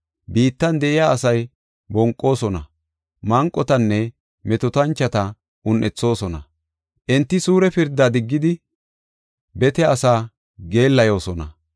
Biittan de7iya asay bonqoosona; manqotanne metootanchota un7ethoosona; enti suure pirdaa diggidi bete asaa geellayosona.